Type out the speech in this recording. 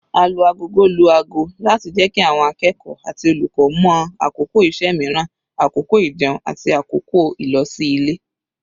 Alu-agogo lu ago láti jẹ́ kí àwọn akẹ́kọ̀ọ́ àti olùkọ́ mọ̀ àkókò iṣẹ́ mìíràn, àkókò ijẹun, àti àkókò ìlosí-ilé.